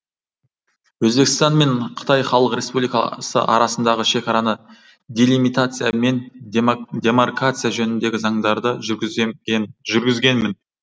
өзбекстан мен қытай халық республик асы арасындағы шекараны делимитация мен демаркация жөніндегі заңдарды жүргізгенмін